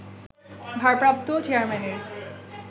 ভারপ্রাপ্ত চেয়ারম্যানের